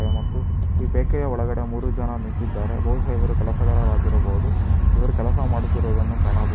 ಮತ್ತು ಈ ಬೇಕರಿ ಯ ಒಳಗಡೆ ಮೂರು ಜನ ನಿಂತಿದ್ದಾರೆ ಬಹುಶಃ ಇವರು ಕೆಲಸಗಾರರಾಗಿರಬಹುದು ಇವರು ಕೆಲಸ ಮಾಡುತ್ತಿರುವುದನ್ನು ಕಾಣಬಹುದು.